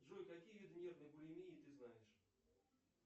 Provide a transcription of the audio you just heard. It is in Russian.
джой какие виды нервной булимии ты знаешь